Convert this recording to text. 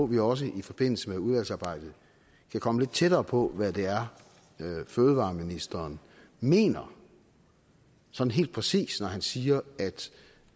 vi også i forbindelse med udvalgsarbejdet kan komme lidt tættere på hvad det er fødevareministeren mener sådan helt præcist når han siger at